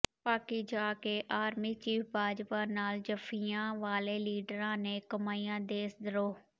ਪਾਕਿ ਜਾ ਕੇ army chief Bajwa ਨਾਲ ਜੱਫ਼ੀਆਂ ਵਾਲੇ ਲੀਡਰਾਂ ਨੇ ਕਮਾਇਆ ਦੇਸ਼ ਧਰੋਹ